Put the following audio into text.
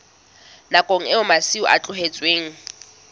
nakong eo masimo a tlohetsweng